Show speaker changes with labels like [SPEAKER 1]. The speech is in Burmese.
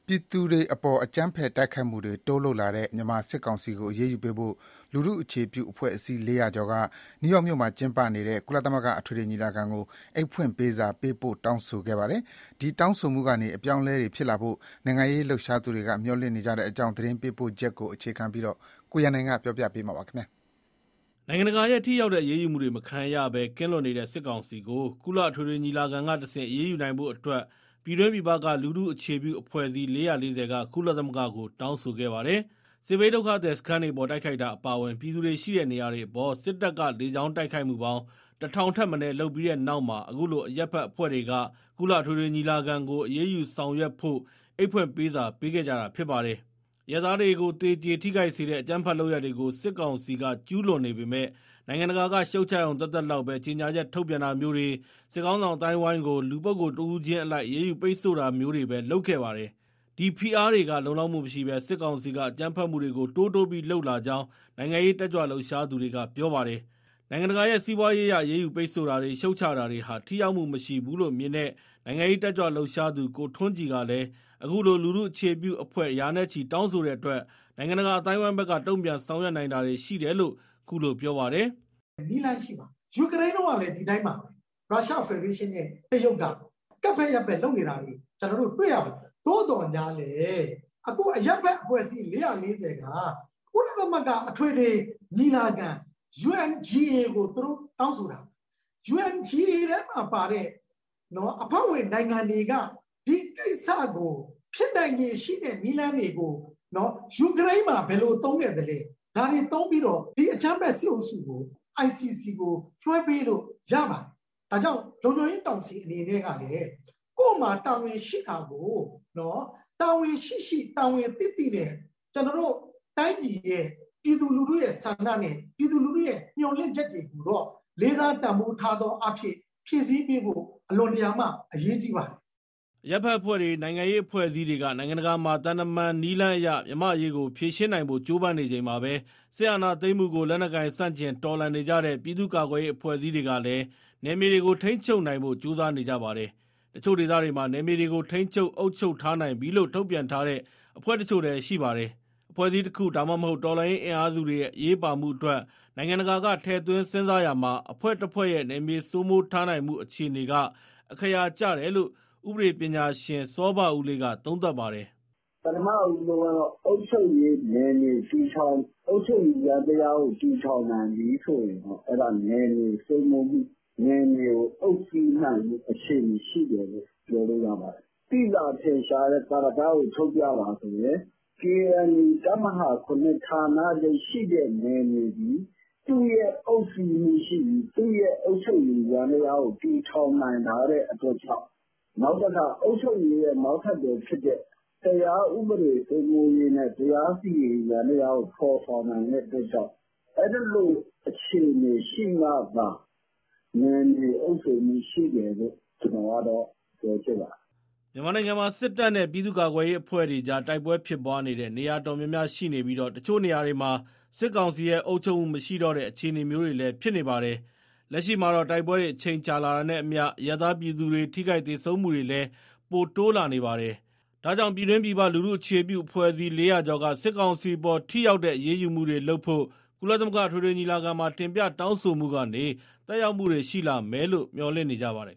[SPEAKER 1] ြည်သူတွေအပေါ် အကြမ်းဖက်တိုက်ခိုက်မှုတွေ တိုးလုပ်လာတဲ့ မြန်မာစစ်ကောင်စီကိုအရေးယူပေးဖို့ လူထုအခြေပြု အဖွဲ့အစည်း ၄၀၀ ကျော်က နယူးယောက်မြို့မှာကျင်းပနေတဲ့ ကုလသမဂ္ဂ အထွေထွေ ညီလာခံကို အိတ်ဖွင့်ပေးစာပေးပို့ တောင်းဆိုခဲ့ပါတယ်။ အဲဒီတောင်းဆိုမှုကနေ အပြောင်းအလဲတွေ ဖြစ်လာဖို့ နိုင်ငံရေးလှုပ်ရှားသူတွေ မျှော်လင့်နေကြတဲ့အကြောင်း သတင်းပေးပို့ချက်ကိုအခြေခံပြီး ကိုရန်နိုင် တင်ပြပါမယ်။ နိုင်ငံတကာရဲ့ ထိရောက်တဲ့အရေးယူမှုတွေမခံရဘဲ ကင်းလွတ်နေတဲ့စစ်ကောင်စီကို ကုလအထွေထွေ ညီလာခံကတဆင့် အရေးယူနိုင်ဖို့အတွက် ပြည်တွင်း၊ ပြည်ပက လူထုအခြေပြုအဖွဲ့အစည်း ၄၄၀ က ကုလသမဂ္ဂကို တောင်းဆိုခဲ့ပါတယ်။ စစ်ဘေးဒုက္ခသည်စခန်းတွေအပေါ် တိုက်ခိုက်တာအပါအဝင် ပြည်သူတွေရှိတဲ့နေရာတွေအပေါ် စစ်တပ်က လေကြောင်းတိုက်ခိုက်မှုပေါင်း ၁,၀၀၀ ထက်မနည်း လုပ်ခဲ့ပြီးနောက်မှာ အခုလို အရပ်ဘက်အဖွဲ့တွေက ကုလအထွေထွေ ညီလာခံကို အရေးယူဆောင် ရွက်ဖို့ အိတ်ဖွင့်ပေးစာပေးခဲ့ကြတာဖြစ်ပါတယ်။ အရပ်သားတွေကို သေကြေ၊ ထိခိုက်စေတဲ့ အကြမ်းဖက် လုပ်ရပ်တွေကို စစ်ကောင်စီက ကျူးလွန်နေ ပေမဲ့ နိုင်ငံတကာက ရှုတ်ချရုံသက်သက်လောက်ပဲ ကြေညာချက်ထုတ်ပြန်တာမျိုးတွေ၊ စစ်ခေါင်း ဆောင်အသိုင်းအဝန်းကို လူပုဂ္ဂိုလ်တဦးချင်းအလိုက် အရေးယူပိတ်ဆို့တာမျိုးတွေပဲလုပ်ခဲ့ပါတယ်။ ဒီဖိအားတွေက လုံလောက်မှုမရှိဘဲ စစ်တကောင်စီက အကြမ်းဖက်မှုတွေကို တိုးတိုးပြီး လုပ်လာ ကြောင်း နိုင်ငံရေးတက်ကြွလှုပ်ရှားသူတွေကပြောပါတယ်။ နိုင်ငံတကာရဲ့ စီးပွားရေးအရ အရေးယူ ပိတ်ဆို့တာတွေ၊ ရှုတ်ချတာတွေဟာ ထိရောက်မှုမရှိဘူးလို့မြင်တဲ့ နိုင်ငံရေး တက်ကြွလှုပ်ရှားသူ ကိုထွန်းကြည်ကလည်း အခုလို လူထုအခြေပြုအဖွဲ့ ရာနဲ့ချီတောင်းဆိုတဲ့အတွက် နိုင်ငံတကာအသိုင်း အဝိုင်းဘက်က တုံ့ပြန်ဆောင်ရွက်နိုင်တာတွေရှိတယ်လို့ ခုလိုပြောပါတယ်။
[SPEAKER 2] “နည်းလမ်းရှိပါတယ်။ ယူကရိန်းတုန်းကလည်း ဒီအတိုင်းပါပဲ၊ ရုရှားဖက်ဒရေးရှင်းနဲ့ တရုတ်က ကပ်ဖဲ့ယက်ဖဲ့ လုပ်နေတာတွေ ကျနော်တို့ တွေ့ရပါတယ်။ သို့သော်ငြားလည်း အခုအရပ်ဘက် အဖွဲ့အစည်း ၄၄၀က ကုလအထွေထွေ ညီလာခံ UNGA ကို သူတို့တောင်းဆိုတာ၊ UNGA မှာပါတဲ့ အဖွဲ့ဝင်နိုင်ငံတွေက ဒီကိစ္စကို၊ ဖြစ်နိုင်ခြေရှိတဲ့ နည်းလမ်းတွေကို ယူကရိန်းမှာ ဘယ်လိုသုံးခဲ့လဲ ဒါတွေသုံးပြီး ဒီအကြမ်းဖက် စစ်အုပ်စုကို ICC ကိုလွှဲပေးလို့ ရပါတယ်။" အရပ်ဘက်အဖွဲ့တွေ၊
[SPEAKER 1] နိုင်ငံရေးအဖွဲ့အစည်းတွေက နိုင်ငံတကာမှာသံတမန်နည်းလမ်းအရ မြန်မာ့အရေးကိုဖြေရှင်းနိုင်ဖို့ ကြိုးပမ်းနေချိန်မှာပဲ စစ်အာဏာသိမ်းမှုကို လက်နက်ကိုင် ဆန့်ကျင်တော်လှန်နေကြတဲ့ ပြည်သူ့ကာကွယ်ရေး အဖွဲ့အစည်းတွေကလည်း နယ်မြေတွေကို ထိန်းချုပ်နိုင်ဖို့ ကြိုးစားနေကြပါတယ်။ တချို့ဒေသတွေမှာ နယ်မြေတွေကို ထိန်းချုပ် အုပ်ချုပ်ထား နိုင်ပြီလို့ ထုတ်ပြန်ထားတဲ့ အဖွဲ့တချို့လည်းရှိပါတယ်။ အဖွဲ့အစည်းတခု ဒါမှမဟုတ် တော်လှန်ရေး အင်အားစုတွေရဲ့ အရေးပါမှုအတွက် နိုင်ငံတကာက ထည့်သွင်းစဉ်းစားရာမှာ အဖွဲ့တဖွဲ့ရဲ့ နယ်မြေစိုးမိုးထားနိုင်မှု အခြေနေက အက္ခရာကျတယ်လို့ ဥပဒေပညာရှင် စောဘဦးလေးက သုံးသပ်ပါတယ်။
[SPEAKER 3] " ပထမဦးဆုံး အုပ်ချုပ်ရေး ယန္တရားကိုတည်ထောင်နိုင်ပြီဆိုရင် အဲဒါ နယ်မြေစိုးမိုးမှု၊ နယ်မြေကို အုပ်စီးနိုင်မှု အခြေအနေရှိတယ်လို့ ပြောလို့ရပါတယ်။ သိသာထင်ရှားတဲ့ သာဓကကို ထုတ်ပြပါဆိုရင် KNU တပ်မဟာ ဌာနချုပ်ရှိတဲ့ နယ်မြေသည် သူ့ရဲ့ အုပ်စီးမှုရှိပြီး သူ့ရဲ့အုပ်ချုပ်ရေး ယန္တရားကို တည်ထောင်နိုင်ထားတဲ့ အတွက်ကြောင့်၊ နောက်ပြီး အုပ်ချုပ်ရေးရဲ့ နောက်ဆက်တွဲဖြစ်တဲ့ တရားဥပဒေစိုးမိုးရေးနဲ့ တရားစီရင်ရေး ယန္တရားကို ဖော်ဆောင်နိုင်တဲ့ အတွက်ကြောင့်၊ အဲသလို အခြေအနေရှိမှသာ နယ်မြေအုပ်စိုးမှုရှိတယ်လို့ ပြောချင်ပါတယ်။
[SPEAKER 1] " မြန်မာနိုင်ငံမှာ စစ်တပ်နဲ့ ပြည်သူ့ကာကွယ်ရေးအဖွဲ့တွေကြား တိုက်ပွဲဖြစ်ပွားနေတဲ့ နေရာတော်တော်များများရှိနေပြီး တချို့နေရာတွေမှာ စစ်ကောင်စီရဲ့ အုပ်ချုပ်မှု မရှိတော့တဲ့ အခြေအနေမျိုးတွေလည်း ဖြစ်နေပါတယ်။ လက်ရှိမှာတော့ တိုက်ပွဲတွေ အချိန်ကြာလာတာနဲ့အမျှ အရပ်သားပြည်သူတွေ ထိခိုက်သေဆုံးမှုတွေ ပိုတိုးလာနေပါတယ်။ ဒါကြောင့် ပြည်တွင်း ပြည်ပ လူထုအခြေပြု အဖွဲ့အစည်း ၄၀၀ ကျော်က စစ်ကောင်စီအပေါ် ထိရောက်တဲ့ အရေးယူမှုတွေ လုပ်ဖို့ ကုလသမဂ္ဂအထွေထွေညီလာခံမှာ တင်ပြတောင်းဆိုမှုကနေ သက်ရောက်မှုတွေ ရှိလာမယ်လို့ မျှော်လင့်နေကြပါတယ်